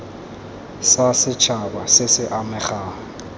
sa setšhaba se se amegang